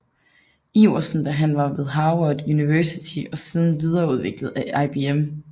Iverson da han var ved Harvard University og siden videreudviklet af IBM